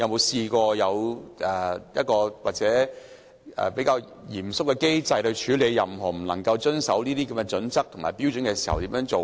是否有一個比較嚴謹的機制處理任何違反《規劃標準》的情況？